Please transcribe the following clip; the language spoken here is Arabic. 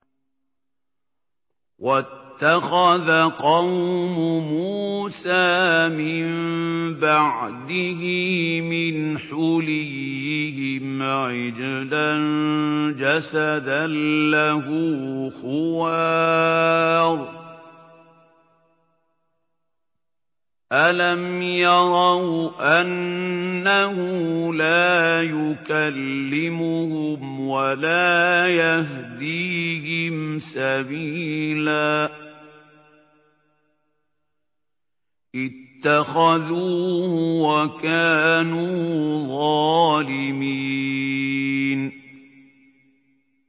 وَاتَّخَذَ قَوْمُ مُوسَىٰ مِن بَعْدِهِ مِنْ حُلِيِّهِمْ عِجْلًا جَسَدًا لَّهُ خُوَارٌ ۚ أَلَمْ يَرَوْا أَنَّهُ لَا يُكَلِّمُهُمْ وَلَا يَهْدِيهِمْ سَبِيلًا ۘ اتَّخَذُوهُ وَكَانُوا ظَالِمِينَ